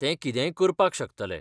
ते कितेंय करपाक शकतले.